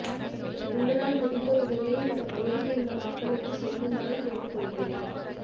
உங்களால் முடிந்த உதவியை இந்த பகுதியில் உள்ள மக்களுக்கு செய்யுமாறு கேட்டுக்கொள்கிறேன்